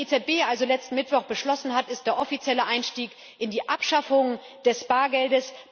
Was die EZB also letzten Mittwoch beschlossen hat, ist der offizielle Einstieg in die Abschaffung des Bargelds.